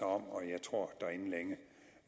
om og jeg tror